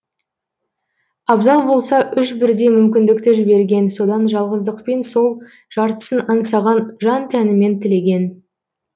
абзал болса үш бірдей мүмкіндікті жіберген содан жалғыздықпен сол жартысын аңсаған жан тәнімен тілеген